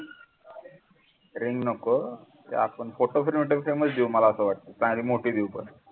ring नको ते आपण photo मला असं वाटतं चांगली मोठी देवू पण